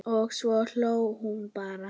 Og svo hló hún bara.